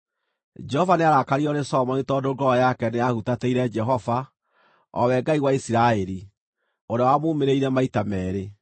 Jehova nĩarakaririo nĩ Solomoni tondũ ngoro yake nĩyahutatĩire Jehova, o we Ngai wa Isiraeli, ũrĩa wamuumĩrĩire maita meerĩ.